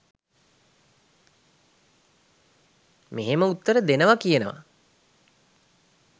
මෙහෙම උත්තර දෙනවා කියනවා